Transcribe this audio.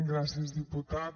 gràcies diputat